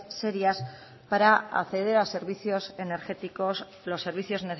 serias para acceder a servicios energéticos los servicios